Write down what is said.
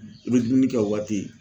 I bɛ dumuni kɛ o waati.